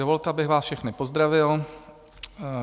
Dovolte, abych vás všechny pozdravil.